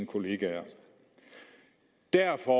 kolleger derfor